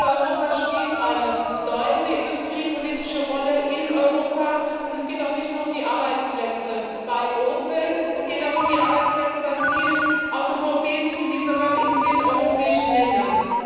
Opel Europa spielt eine bedeutende industriepolitische Rolle in Europa, und es geht auch nicht nur um die Arbeitsplätze bei Opel, es geht auch um die Arbeitsplätze bei vielen Automobilzulieferern in vielen europäischen Ländern.